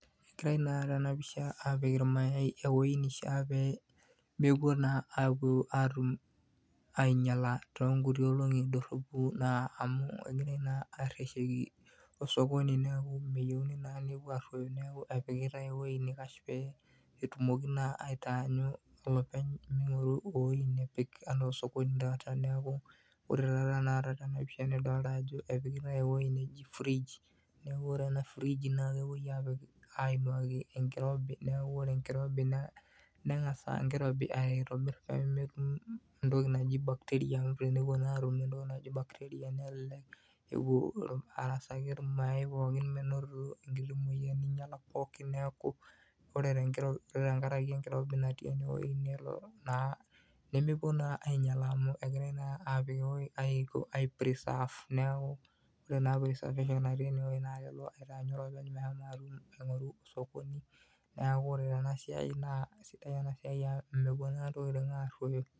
Ore naa tenapisha apik ilmayai eweji nishaa kepuo naa aingialaa tongolongi, amu egirai naa areshoki osokoni neeku meyieuni naa eweji nikaash pee etumoki naa olopeny, epiikitai eweji naji frij naa eweji nirobi naa kengas enkirobi aitobir aar entoki naji bacteria, nelelek epuo arasaki ilmayai pooki, menotito emoyian pooki neeku egirai ai preserve neeku meroyo.